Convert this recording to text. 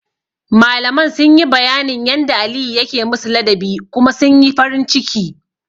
Malaman sun yi bayanin yanda Aliyu yake musu ladabi kuma sun yi farin ciki.